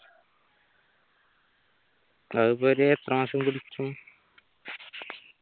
അതിപ്പോ ഒരു എത്ര മാസം പിടിക്കും